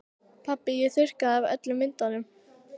Pabbi ég þurrkaði af öllum myndunum.